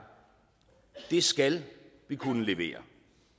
det skal vi kunne levere